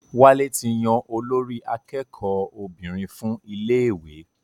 Wálé ti yan olórí akẹ́kọ̀ọ́ obìnrin fún iléèwé